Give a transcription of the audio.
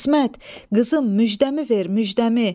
İsmət, qızım, müjdəmi ver, müjdəmi.